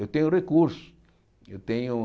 Eu tenho recursos. Eu tenho